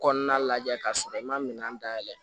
Kɔnɔna lajɛ k'a sɔrɔ i ma minɛn dayɛlɛ